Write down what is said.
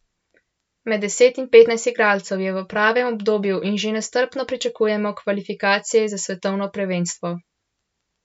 Med deset in petnajst igralcev je v pravem obdobju in že nestrpno pričakujemo kvalifikacije za svetovno prvenstvo.